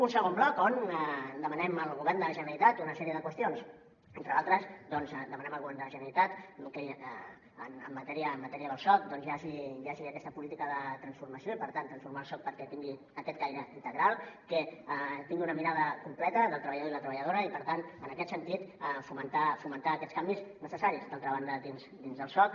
un segon bloc on demanem al govern de la generalitat una sèrie de qüestions entre d’altres demanem al govern de la generalitat que en matèria del soc doncs hi hagi aquesta política de transformació i per tant transformar el soc perquè tin·gui aquest caire integral que tingui una mirada completa del treballador i la treba·lladora i per tant en aquest sentit fomentar aquests canvis necessaris d’altra ban·da dins del soc